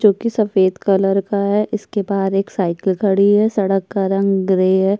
जोकि सफेद कलर का है। इसके बाहर एक साइकिल खड़ी है। सड़क का रंग ग्रे है।